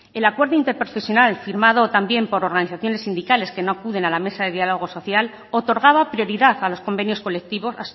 el acuerdo interprofesional firmado también por organizaciones sindicales que no acuden a la mesa de diálogo social otorgaba prioridad a los convenios colectivos